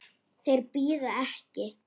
Þeir bíða ekki.